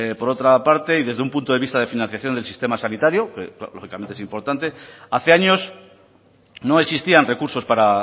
por otra parte y desde un punto de vista de financiación del sistema sanitario que lógicamente es importante hace años no existían recursos para